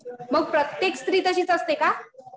मग प्रत्येक स्त्री तशीच असते का?